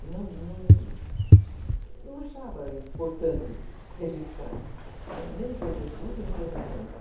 E não não achava importante registrar, nem coisas boas, nem coisas ruins.